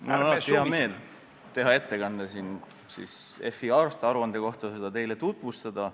Mul on hea meel teha ettekanne Finantsinspektsiooni aastaaruande kohta ja seda teile tutvustada.